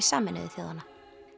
Sameinuðu þjóðanna